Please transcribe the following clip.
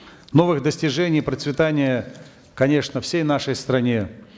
новых достижений и процветания конечно всей нашей стране